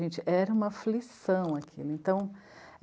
Gente, era uma aflição aquilo, então.